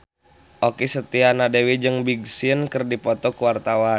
Okky Setiana Dewi jeung Big Sean keur dipoto ku wartawan